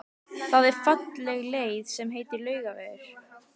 Það er falleg leið sem heitir Laugavegur.